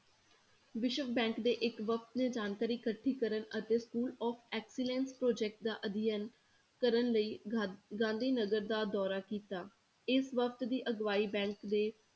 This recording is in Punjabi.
ਵਿਸ਼ਵ bank ਦੇ ਇੱਕ ਵਕਤ ਨੇ ਜਾਣਕਾਰੀ ਇਕੱਠੀ ਕਰਨ ਅਤੇ school of excellence project ਦਾ ਅਧਿਐਨ ਕਰਨ ਲਈ ਗਾ~ ਗਾਂਧੀ ਨਗਰ ਦਾ ਦੌਰਾ ਕੀਤਾ, ਇਸ ਵਕਤ ਦੀ ਅਗਵਾਈ bank ਦੇ